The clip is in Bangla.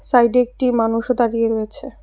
সাইডে একটি মানুষও দাঁড়িয়ে রয়েছে।